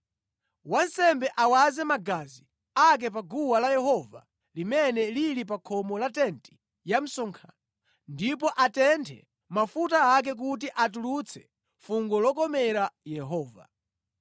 Wansembe awaze magazi ake pa guwa la Yehova limene lili pa khomo la tenti ya msonkhano ndipo atenthe mafuta ake kuti atulutse fungo lokomera Yehova.